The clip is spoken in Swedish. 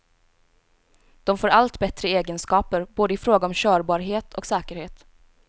De får allt bättre egenskaper, både i fråga om körbarhet och säkerhet.